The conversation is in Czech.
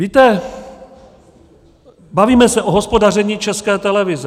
Víte, bavíme se o hospodaření České televize.